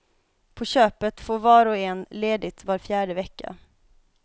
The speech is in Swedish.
På köpet får var och en ledigt var fjärde vecka.